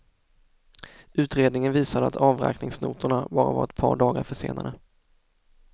Utredningen visade att avräkningsnotorna bara var ett par dagar försenade.